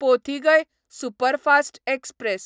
Pothigai superfast express